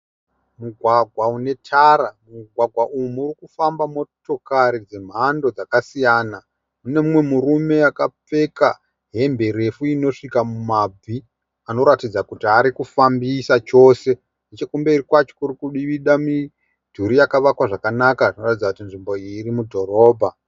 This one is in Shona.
Mugwagwa une tara, mugwagwa unofamba motokare dzemando dzakasiyana. munemumwe murume akapfeka hembe refu inosvika mumabvi, anoratidza kuti arikufambisa chose. Nechekumberi kwacho kurikuduvida miduri yakanaka kuratidza kuti nzvimbo iyi irimudorobha.